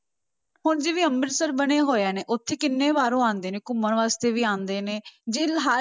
ਹੁਣ ਜਿਵੇਂ ਅੰਮ੍ਰਿਤਸਰ ਬਣੇ ਹੋਏ ਨੇ ਉੱਥੇ ਕਿੰਨੇ ਬਾਹਰੋਂ ਆਉਂਦੇ ਨੇ ਘੁੰਮਣ ਵਾਸਤੇ ਵੀ ਆਉਂਦੇ ਨੇ, ਜੇ ਹਰ